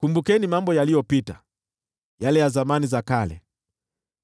Kumbukeni mambo yaliyopita, yale ya zamani za kale;